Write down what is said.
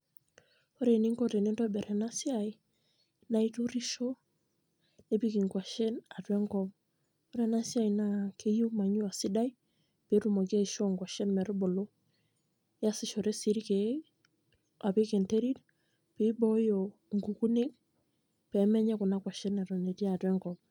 ore eninko tenintobir ena siai, naa iturusho, nipik inkwashen atua enkop. ore ena siai naa keyieu manure sidai pee etumoki aiishoo kwashen metubulu. iyasishore sii irkeek apik enterit pee ibooyo inkukunik pee menya kuna kwashen eton etii atua enkop.